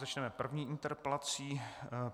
Začneme první interpelací.